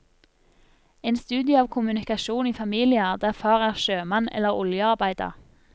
En studie av kommunikasjon i familier der far er sjømann eller oljearbeider.